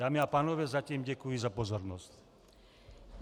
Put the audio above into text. Dámy a pánové, zatím děkuji za pozornost.